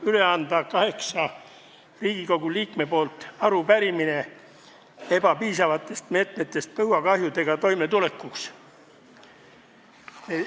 Lubage mul kaheksa Riigikogu liikme nimel üle anda arupärimine ebapiisavate meetmete kohta põuakahjudega toimetulekuks.